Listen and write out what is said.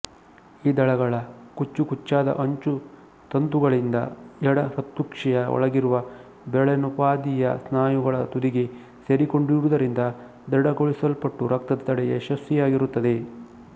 ಈ ದಳಗಳ ಕುಚ್ಚುಕುಚ್ಚಾದ ಅಂಚು ತಂತುಗಳಿಂದ ಎಡಹೃತ್ಕುಕ್ಷಿಯ ಒಳಗಿರುವ ಬೆರಳಿನೋಪಾದಿಯ ಸ್ನಾಯುಗಳ ತುದಿಗೆ ಸೇರಿಕೊಂಡಿರುವುದರಿಂದ ದೃಢಗೊಳಿಸಲ್ಪಟ್ಟು ರಕ್ತದ ತಡೆ ಯಶಸ್ವಿಯಾಗಿರುತ್ತದೆ